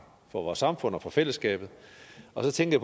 for vores samfund og for fællesskabet og så tænkte